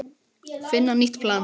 Finna nýtt plan.